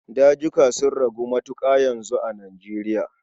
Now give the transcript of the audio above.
Dazuka sun ragu matuƙa yanzu a Nijeriya.